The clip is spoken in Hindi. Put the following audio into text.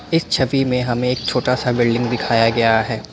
इस छवि मे हमें एक छोटा सा बिल्डिंग दिखाया गया है।